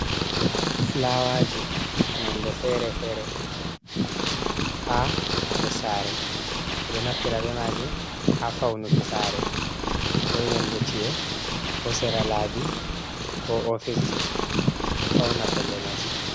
Fulawaji nonɗe fere-fere ha nɗe sare, ɓe ɗo naftira ɓe maji ha faunuki sare, ko yonɗe ci’e ko sera laɓi ko office ji ɗo fauna pellel masin.